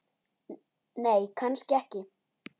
Nei, kannski ekki.